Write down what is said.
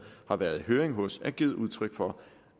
har været i høring hos har givet udtryk for